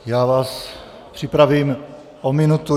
Já vás připravím o minutu.